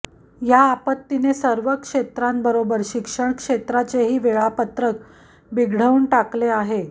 या आपत्तीने सर्वच क्षेत्रांबरोबर शिक्षण क्षेत्राचेही वेळापत्रक बिघडवून टाकले आहे